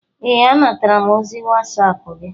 Ee, anatara m ozi wasap gi